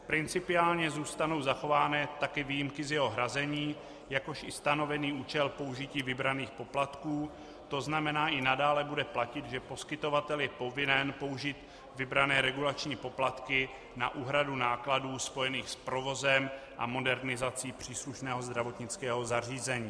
Principiálně zůstanou zachovány také výjimky z jeho hrazení, jakož i stanovený účel použití vybraných poplatků, to znamená, i nadále bude platit, že poskytovatel je povinen použít vybrané regulační poplatky na úhradu nákladů spojených s provozem a modernizací příslušného zdravotnického zařízení.